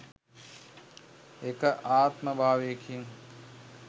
එක් ආත්ම භාවයකින්